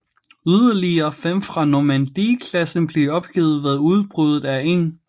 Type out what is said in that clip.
Yderligere fem fra Normandie klassen blev opgivet ved udbruddet af 1